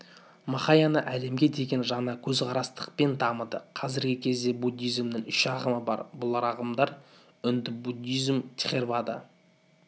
махаяна әлемге деген жаңа көзқарастықпен дамыды қазіргі кезде буддизмнің үш ағымы бар бұл ағымдар үнді-буддизмі тхеравада